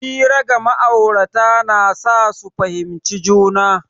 Hira ga ma'aurata na sa su fahimci juna.